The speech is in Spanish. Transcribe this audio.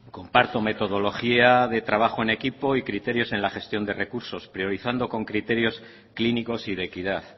comparto metodología de trabajo en equipo y criterios en la gestión de recursos priorizando con criterios clínicos y de equidad